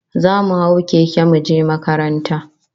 Zamu hau keke muje makaranta